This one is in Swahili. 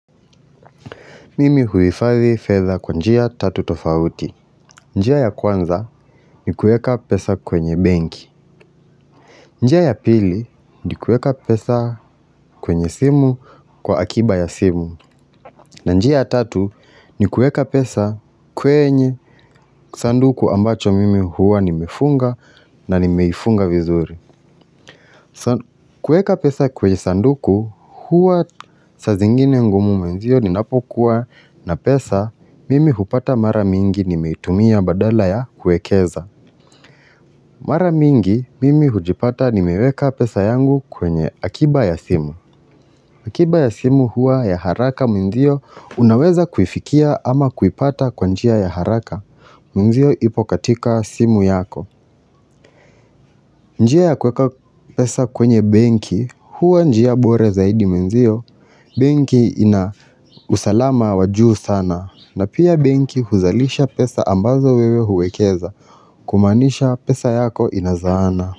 Mimi huhifathi fetha kwa njia tatu tofauti njia ya kwanza ni kueka pesa kwenye benki njia ya pili ni kueka pesa kwenye simu kwa akiba ya simu na njia ya tatu ni kueka pesa kwenye sanduku ambacho mimi huwa nimefunga na nimeifunga vizuri kueka pesa kwenye sanduku huwa sa zingine ngumu mwanzio ninapokuwa na pesa, mimi hupata mara mingi nimeitumia badala ya kuekeza Mara mingi, mimi hujipata nimeweka pesa yangu kwenye akiba ya simu akiba ya simu hua ya haraka mwanzio unaweza kuifikia ama kuipata kwa njia ya haraka Mwanzio ipo katika simu yako njia ya kuweka pesa kwenye benki, hua njia bora zaidi mwanzio benki ina usalama wa juu sana na pia benki huzalisha pesa ambazo wewe huwekeza kumaanisha pesa yako inazaana.